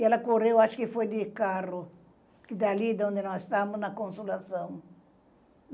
E ela correu, acho que foi de carro, que dali da onde nós estávamos, na Consolação.